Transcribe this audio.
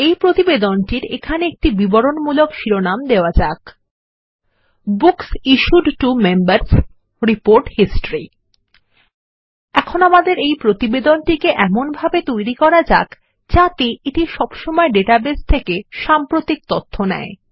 এই প্রতিবেদনটির এখানে একটি বিবরণমূলক শিরোনাম দেওয়াযাক books issued to Members report history এখন আমাদের প্রতিবেদনটিকে এমনভাবে তৈরী করা যাক যাতে এটি সবসময় ডাটাবেস থেকে সাম্প্রতিক তথ্য নেয়